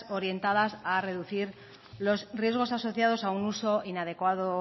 orientadas a reducir los riesgos asociados a un uso inadecuado